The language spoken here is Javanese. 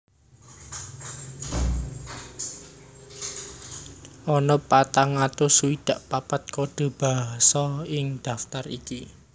Ana patang atus swidak papat kode basa ing daftar iki